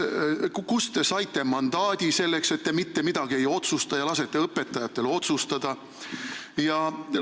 Kust te saite mandaadi selleks, et te mitte midagi ei otsusta ja lasete õpetajatel otsustada?